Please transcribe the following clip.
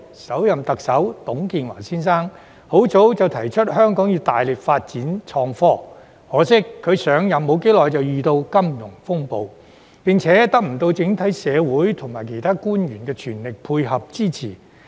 首任特首董建華先生，很早期已提出香港要大力發展創科，可惜他上任不久便遇上金融風暴，並且未能得到整體社會和其他官員的全力配合支持。